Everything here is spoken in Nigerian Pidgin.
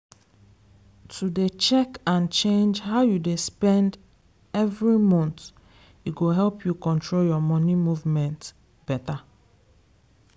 to dey check and change how you dey spend every month e go help you control your money movement beta.